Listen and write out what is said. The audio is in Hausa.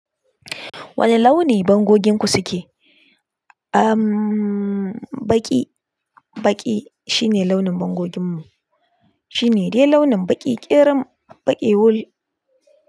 Wane launi bangoginku suke? Ammm, baƙi, baƙi shine launin bangoginmu. Shine dai launin baƙi, ƙerin baƙi wul.